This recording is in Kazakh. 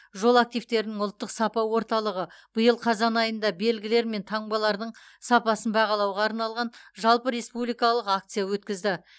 жол активтерінің ұлттық сапа орталығы биыл қазан айында белгілер мен таңбалардың сапасын бағалауға арналған жалпы республикалық акция өткізді